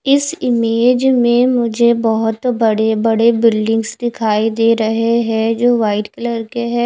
इस इमेज में मुझे बोहोत बड़े बड़े बिल्डिंग्स दिखाई दे रहे है जो वाइट कलर के है।